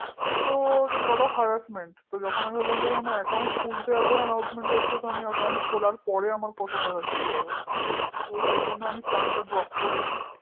তো lotofharassment তো যখন আমি ভাবলাম যে account খুলতে এত harassment হচ্ছে তোর account খোলার পর কত harassment হবে তো সেজন্য আমি plan টা drop করে দিই